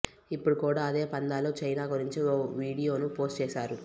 ఇప్పుడు కూడా అదే పంథాలో చైనా గురించి ఓ వీడియోను పోస్టు చేశారు